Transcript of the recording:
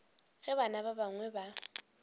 ge bana ba bangwe ba